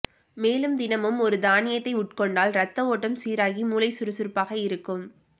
மேலும் தினமும் ஒரு தானியத்தை உட்கொண்டால் இரத்தஓட்டம் சீராகி மூளை சுறுசுறுப்பாக இருக்கும்